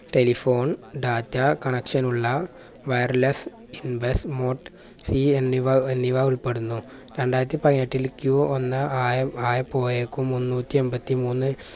telephone data connection ഉള്ള wireless invest mote C എന്നിവ എന്നിവ ഉൾപ്പെടുന്നു. രണ്ടായിരത്തി പതിനെട്ടിൽ ക്യൂ ഒന്ന് ആയ ആയപ്പോയേക്കും മുന്നൂറ്റി എമ്പത്തിമൂന്ന്‌